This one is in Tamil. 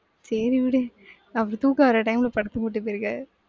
சேரி விடு அப்ப தூக்கம் வர time ல படத்துக்கு கூட்டி போயிருக்க.